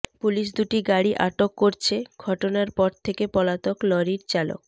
police দুটি গাড়ি আটক করছে ঘটনার পর থেকে পলাতক লরির চালক